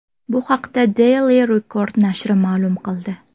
Bu haqda Daily Record nashri ma’lum qildi .